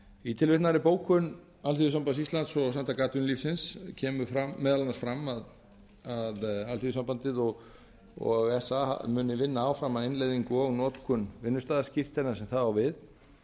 í tilvitnaðri bókun alþýðusambands íslands og samtaka atvinnulífsins kemur meðal annars fram að alþýðusambandið og sa muni vinna áfram að innleiðingu og notkun vinnustaðaskírteina þar sem það á við